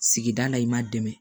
Sigida la i ma dɛmɛ